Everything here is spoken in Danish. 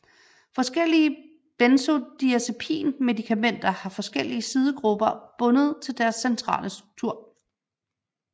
Forskellige benzodiazepinmedikamenter har forskellige sidegrupper bundet til deres centrale struktur